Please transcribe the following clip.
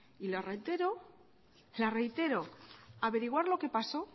y lo reitero la reitero averiguar lo que pasó